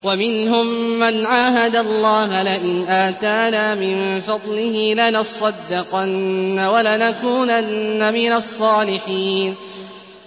۞ وَمِنْهُم مَّنْ عَاهَدَ اللَّهَ لَئِنْ آتَانَا مِن فَضْلِهِ لَنَصَّدَّقَنَّ وَلَنَكُونَنَّ مِنَ الصَّالِحِينَ